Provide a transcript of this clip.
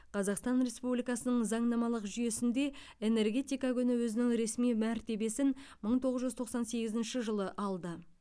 қазақстан республикасының заңнамалық жүйесінде энергетика күні өзінің ресми мәртебесін мың тоғыз жүз тоқсан сегізінші жылы алды